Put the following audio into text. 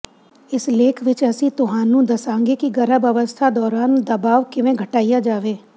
ਇਸ ਲੇਖ ਵਿਚ ਅਸੀਂ ਤੁਹਾਨੂੰ ਦੱਸਾਂਗੇ ਕਿ ਗਰਭ ਅਵਸਥਾ ਦੌਰਾਨ ਦਬਾਅ ਕਿਵੇਂ ਘਟਾਇਆ ਜਾਵੇ